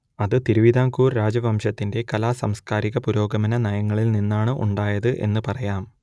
അത് തിരുവിതാംകൂർ രാജവംശത്തിന്റെ കലാ സാംസ്കാരിക പുരോഗമന നയങ്ങളിൽ നിന്നാണ് ഉണ്ടായത് എന്ന് പറയാം